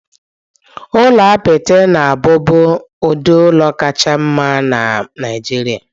Ụlọ apịtị na-abụbu ụdị ụlọ kacha mma na Nigeria.